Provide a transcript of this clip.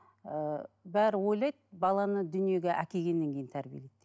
ыыы бәрі ойлайды баланы дүниеге әкелгеннен кейін тәрбиелейді деп